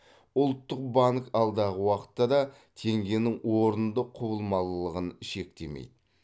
ұлттық банк алдағы уақытта да теңгенің орынды құбылмалылығын шектемейді